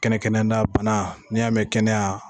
Kɛnɛ kɛnɛna banna n'i y'a mɛn kɛnɛya